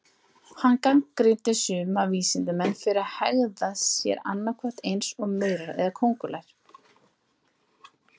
Hann gagnrýndi suma vísindamenn fyrir að hegða sér annað hvort eins og maurar eða köngulær.